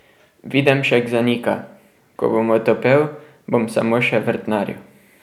Videmšek zanika: 'Ko bom otopel, bom samo še vrtnaril.